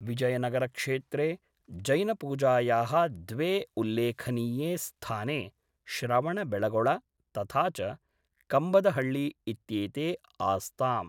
विजयनगरक्षेत्रे जैनपूजायाः द्वे उल्लेखनीये स्थाने श्रवणबेळगोळ तथा च कम्बदहळ्ळी इत्येते आस्ताम्।